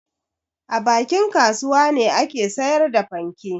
A bakin kasuwa ne ake sayar da fanke.